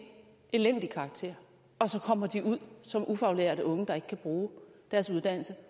elendig karakter og så kommer de ud som ufaglærte unge der ikke kan bruge deres uddannelse